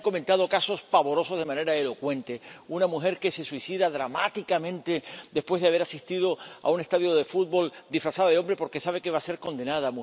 Se han comentado casos pavorosos de manera elocuente una mujer que se suicida dramáticamente después de haber asistido a un estadio de fútbol disfrazada de hombre, porque sabe que va a ser condenada